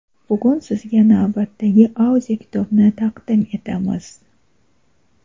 Bugun sizga navbatdagi audio kitobni taqdim etamiz.